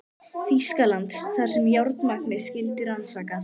Þýskalands, þar sem járnmagnið skyldi rannsakað.